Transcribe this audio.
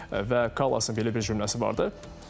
Və Kallasın belə bir cümləsi vardı.